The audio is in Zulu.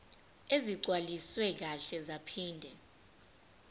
ezigcwaliswe kahle zaphinde